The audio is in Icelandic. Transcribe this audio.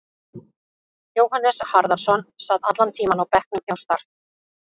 Jóhannes Harðarson sat allan tímann á bekknum hjá Start.